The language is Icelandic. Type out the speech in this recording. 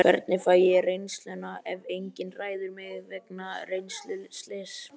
Hvernig fæ ég reynsluna ef enginn ræður mig vegna reynsluleysis?